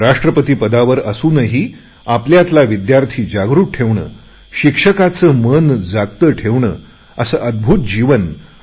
राष्ट्रपती पदावर असूनही आपल्यातला विद्यार्थी जागृत ठेवणे शिक्षकांचे मन जागते ठेवणे असे अद्भूत जीवन डॉ